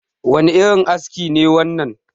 wane irin aski ne wannan?